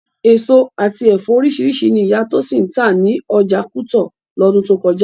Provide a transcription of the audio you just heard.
Èso àti ẹ̀fọ́ oríṣiríṣi ni ìyá Tósìn ń tà ní ọjà kútọ̀ lọ́dún tó kọjá